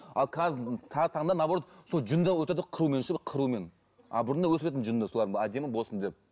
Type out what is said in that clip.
ал қазіргі таңда наоборот сол жүнді қырумен ше қырумен а бұрында өсіретін жүнді солар әдемі болсын деп